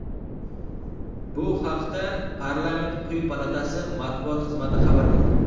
Bu haqda parlament quyi palatasi matbuot xizmati xabar qildi .